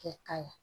Kɛ ka ɲɛ